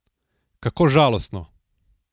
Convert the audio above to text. Kako žalostno!